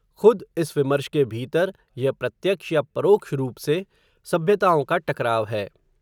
खुद, इस विमर्श के भीतर, यह प्रत्यक्ष, या परोक्ष रूप से, सभ्यताओं का टकराव है